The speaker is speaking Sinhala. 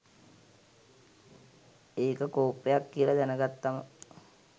ඒක කොප්පයක් කියල දැන ගත්තම